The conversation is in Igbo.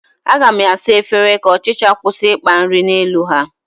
Aga m asa efere ka ọchịcha kwụsị ịkpa nri n'elu ha